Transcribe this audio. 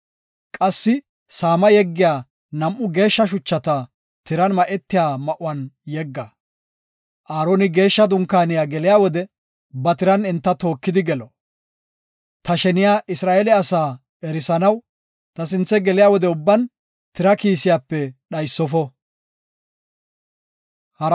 Qassi saama yeggiya nam7u geeshsha shuchata tiran ma7etiya ma7uwan yegga. Aaroni Geeshsha dunkaaniya geliya wode ba tiran enta tookidi gelo. Ta sheniya Isra7eele asaa erisanaw ta sinthe geliya wode ubban tira kiisiyape dhaysofo.